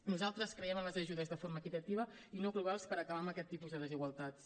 nosaltres creiem en les ajudes de forma equitativa i no globals per acabar amb aquest tipus de desigualtats